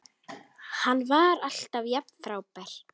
Hann var alltaf jafn frábær.